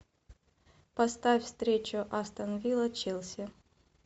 поставь встречу астон вилла челси